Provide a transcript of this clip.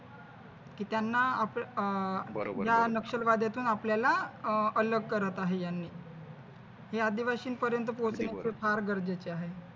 कि त्यांना अह या नक्षलवादातून आपल्याला अह अलग करत आहे यांनी हे आदिवासींपर्यंत पोहोचणे फार गरजेचे आहे.